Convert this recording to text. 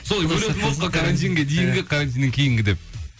солай бөлетін болдық қой карантинге дейінгі карантиннен кейінгі деп